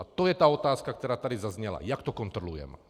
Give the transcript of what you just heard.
A to je ta otázka, která tady zazněla, jak to kontrolujeme.